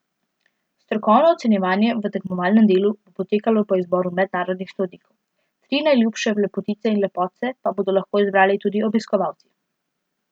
Strokovno ocenjevanje v tekmovalnem delu bo potekalo po izboru mednarodnih sodnikov, tri najljubše lepotice in lepotce pa bodo lahko izbrali tudi obiskovalci.